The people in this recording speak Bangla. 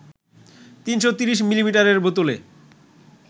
৩৩০ মিলিলিটারের বোতলে